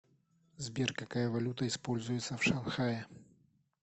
сбер какая валюта используется в шанхае